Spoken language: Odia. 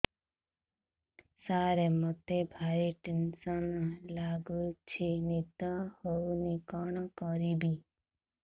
ସାର ମତେ ଭାରି ଟେନ୍ସନ୍ ଲାଗୁଚି ନିଦ ହଉନି କଣ କରିବି